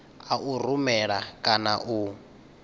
a u rumela kana u